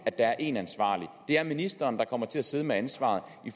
at der er én ansvarlig det er ministeren der kommer til at sidde med ansvaret